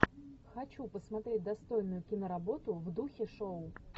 хочу посмотреть достойную киноработу в духе шоу